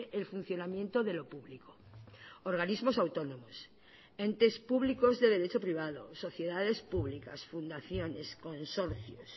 el funcionamiento de lo público organismos autónomos entes públicos de derecho privado sociedades públicas fundaciones consorcios